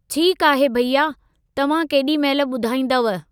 ठीकु आहे भैया, तव्हां केॾी महिल ॿुधाईंदव?